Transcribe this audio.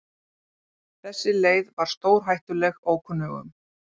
Þessi leið var stórhættuleg ókunnugum.